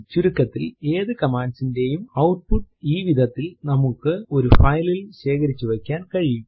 ചുരുക്കത്തിൽ ഏതു command ന്റെയും ഔട്ട്പുട്ട് ഈ വിധത്തിൽ നമ്മൾക്ക് ഒരു file ൽ ശേഖരിച്ചു വയ്ക്കുവാൻ കഴിയും